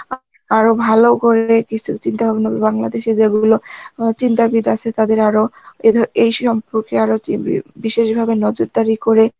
আরো ভালো করবে কিছু চিন্তা ভাবনা করে বাংলাদেশে যেগুলো অ্যাঁ চিন্তাবিদ আছে তাদের আরো, এ ধর~ এই সম্পর্কে আরো বিশেষ ভাবে নজরদারি করে